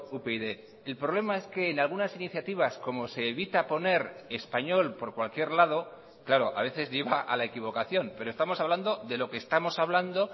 upyd el problema es que en algunas iniciativas como se evita poner español por cualquier lado claro a veces lleva a la equivocación pero estamos hablando de lo que estamos hablando